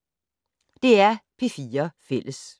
DR P4 Fælles